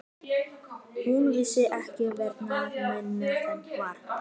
Hún vissi ekki hverra manna hann var.